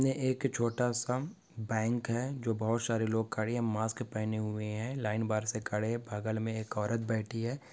एक छोटा सा बँक है जो बहुत सारे लोग खड़े है मास्क पहने हुए हैं लाइन बार से खड़े बगल में एक औरत बैठी है।